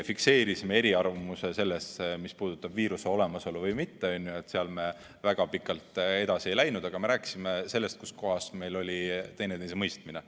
Fikseerisime eriarvamuse selles, mis puudutab viiruse olemasolu, sealt me väga pikalt edasi ei läinud, aga me rääkisime sellest, kus kohas meil oli üksteisemõistmine.